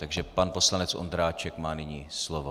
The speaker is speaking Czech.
Takže pan poslanec Ondráček má nyní slovo.